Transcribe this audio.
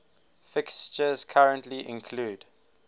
fixtures currently include